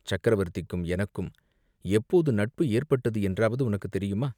"சக்கரவர்த்திக்கும் எனக்கும் எப்போது நட்பு ஏற்பட்டது என்றாவது உனக்குத் தெரியுமா?